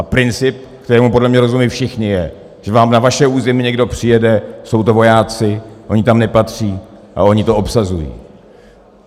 A princip, kterému podle mě rozumí všichni, je, že vám na vaše území někdo přijede, jsou to vojáci, oni tam nepatří a oni to obsazují.